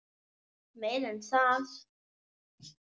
Meira en það.